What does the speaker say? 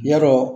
Ya dɔ